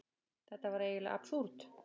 Þetta var eiginlega absúrd.